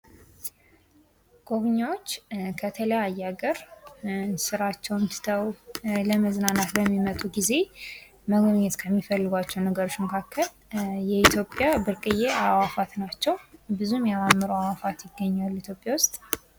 ጎብኝዎች ከተለያዩ ሀገር ስራቸውን ትተው ለመጎብኘት በሚመጡበት ጊዜ መጎብኘት ከሚፈልጓቸው ነገሮች መካከል የኢትዮጵያ ብርቅዬ አእዋፋት ናቸው ብዙም የሚያማምሩ አዕዋፋት ይገኛሉ ኢትዮጵያ ውስጥ።